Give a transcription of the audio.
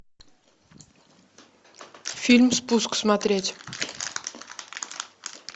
фильм спуск смотреть